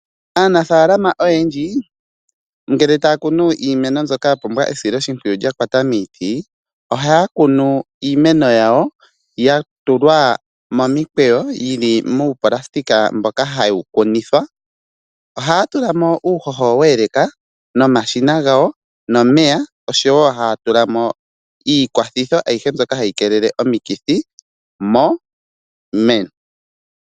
Aanafaalama oyendji ngele taya kunu iimeno mbyoka yapumbwa esiloshimpwiyu lyakwata miiti ,ohaya kunu iimeno yawo yatulwa momikweyo yili muunayilona mboka hawu kunithwa . Ohaya tulamo uuhoho we eleka nomashina gawo nomeya oshowo haya tulamo iikwathithi ayihe mbyoka hayi keelele omikithi miimeno.